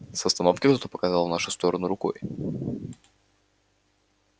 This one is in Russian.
с остановки кто-то показал в нашу сторону рукой